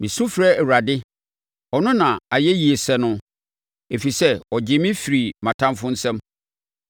Mesu frɛ Awurade; ɔno na ayɛyie sɛ no, ɛfiri sɛ ɔgye me firi mʼatamfoɔ nsam.